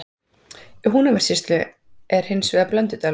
Í Húnavatnssýslu er hins vegar Blöndudalur.